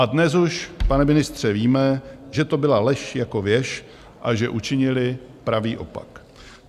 A dnes už, pane ministře, víme, že to byla lež jako věž a že učinili pravý opak.